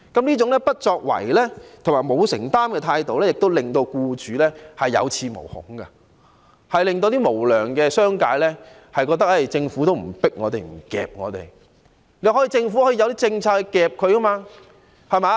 這種不作為和沒有承擔的態度，令僱主有恃無恐，令無良商界認為，政府不會催迫或強制他們。